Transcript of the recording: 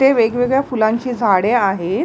हे वेगवेगळ्या फुलांची झाडे आहेत.